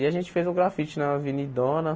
E a gente fez um grafite na Avenidona.